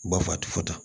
Ba fa a ti fɔta